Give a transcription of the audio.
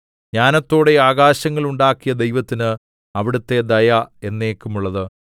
ജ്ഞാനത്തോടെ ആകാശങ്ങൾ ഉണ്ടാക്കിയ ദൈവത്തിന് അവിടുത്തെ ദയ എന്നേക്കുമുള്ളത്